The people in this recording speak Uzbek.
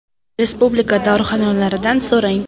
Respublika dorixonalaridan s o‘ rang .